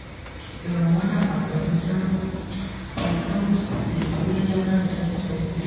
ẹ̀rò wọn dàgbà pẹ̀lú zero point seven two percent wé january twenty twenty three